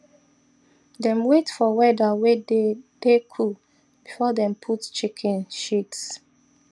dem wait for weather way dey dey cool before them put chicken shits